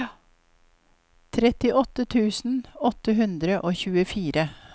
trettiåtte tusen åtte hundre og tjuefire